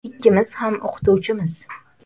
Ikkimiz ham o‘qituvchimiz.